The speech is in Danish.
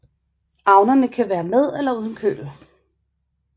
Avnerne kan være med eller uden køl